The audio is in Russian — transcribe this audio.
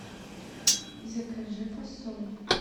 закажи фасоль